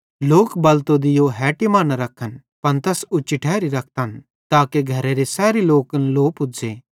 लोक बलतो दीयो हेटी मां न रखन पन तैस उच्ची ठैरी रखतन ताके घरेरे सैरी मैनन् लो पुज़्ज़े